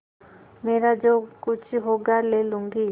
मेरा जो कुछ होगा ले लूँगी